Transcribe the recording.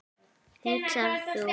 hugsar þú.